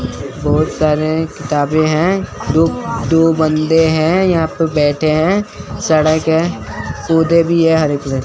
बहोत सारे किताबें हैं दो दो बंदे हैं यहां पे बैठे हैं सड़क है भी है --